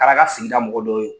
O Kɛr'a ka sigida mɔgɔdɔ ye o